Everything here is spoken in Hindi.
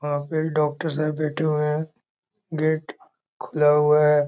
वहां पे डॉक्टर साहब बैठे हुए हैं गेट खुला हुआ है।